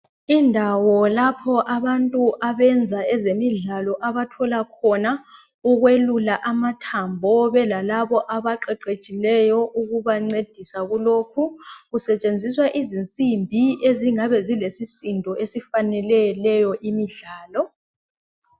indawo lapho abantu abenza ezemidlalo abathola khona ukwelula amathambo kube lalabo abaqeqetshileyo ukubancedisa kulokhu kusetshenziswa izinsimbi ezingabe zilesisindo esifanele leyo imidlalo